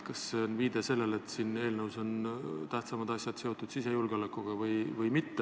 Kas see on viide sellele, et siin eelnõus on tähtsamad asjad seotud sisejulgeolekuga?